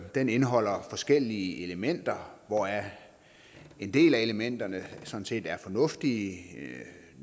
den indeholder forskellige elementer hvoraf en del af elementerne sådan set er fornuftige